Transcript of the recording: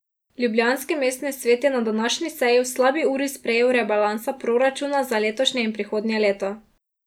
Ljubljanski mestni svet je na današnji seji v slabi uri sprejel rebalansa proračuna za letošnje in prihodnje leto.